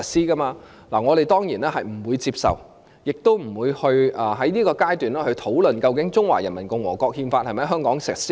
對此，我們當然不會接受，亦不會在現階段討論，究竟《憲法》是否在香港全面實施？